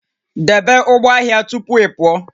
Debe ụgbọ ahịa tupu ị pụọ